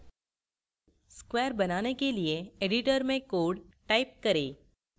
square बनाने के लिए editor में code type करें